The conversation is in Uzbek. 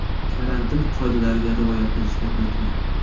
Karantin qoidalariga rioya qilishni unutmang.